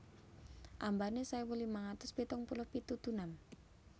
Ambané sewu limang atus pitung puluh pitu dunam